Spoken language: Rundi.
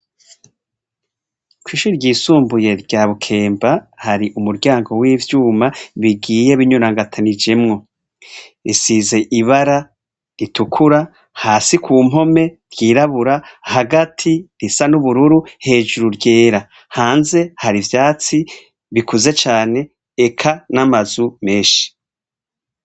Kw'ishure ryisumbuye rya Bukemba hari umuryango w'ivyuma bigiye binyurangatanijemwo, risize ibara ritukura hasi kumpome ryirabura, hagati risa n'ubururu, hejuru ryera, hanze hari ivyatsi bikuze cane eka n'amazu menshi.